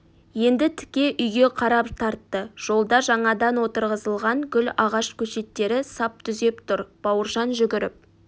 енді тіке үйге қарап тартты жолда жаңадан отырғызылған гүл ағаш көшеттері сап түзеп тұр бауыржан жүгіріп